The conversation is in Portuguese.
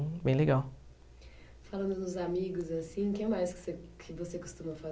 bem legal. Falando dos amigos assim, quem mais que você que você costuma